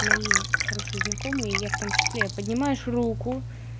мои хорошие знакомые и я в том числе поднимаешь руку